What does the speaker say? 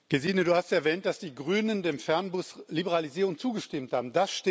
Gesine, du hast erwähnt, dass die Grünen der Fernbusliberalisierung zugestimmt haben.